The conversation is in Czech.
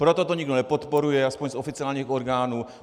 Proto to nikdo nepodporuje, aspoň z oficiálních orgánů.